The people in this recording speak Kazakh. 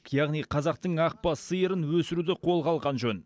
яғни қазақтың ақ бас сиырын өсіруді қолға алған жөн